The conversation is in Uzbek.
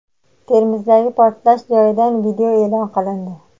Termizdagi portlash joyidan video e’lon qilindi.